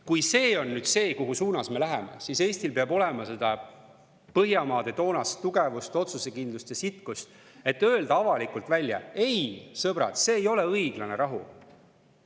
Kui see on see suund, kuhu poole me läheme, siis Eestil peab olema Põhjamaade toonast tugevust, otsusekindlust ja sitkust, et öelda avalikult välja: "Ei, sõbrad, see ei ole õiglane rahu.